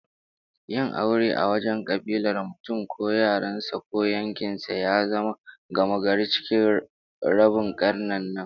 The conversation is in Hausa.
Yin aure a wajen kabilar mutum ko yaran sa ko yankin sa, ya zama gamagari cikin rabin karnin nan